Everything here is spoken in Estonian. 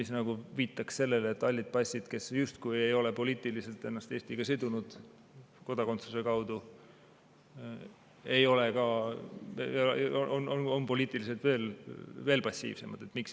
See nagu viitab sellele, et halli passi omanikud, kes justkui ei ole poliitiliselt ennast Eestiga sidunud kodakondsuse kaudu, on poliitiliselt veel passiivsemad.